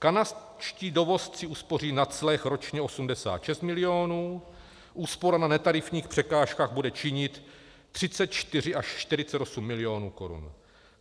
Kanadští dovozci uspoří na clech ročně 86 milionů, úspora na netarifních překážkách bude činit 34 až 48 milionů korun.